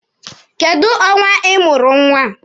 Kedụ ọnwa ị mụrụ nwa?